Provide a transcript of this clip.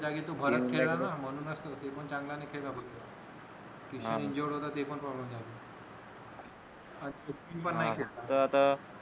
त्याने तर बरच केल ना म्हणूच ते पण चांगला नाही खेळला किशन injured होता ते पण problem झाला ते पण नाही खेळला